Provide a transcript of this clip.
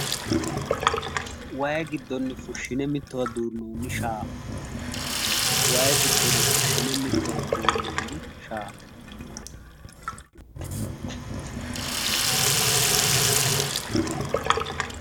wayi giddonni fushshine mittowa duunnoonni shaafa. wayi giddonni fushshine mittowa duunnoonni shaafa.